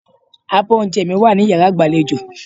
Abọ́ oúnjẹ mi wà ní yàrá ìgbàlejò.